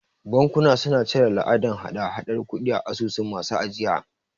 Bankuna suna cire la'adan hada hadar kudi a asusun masu ajiya.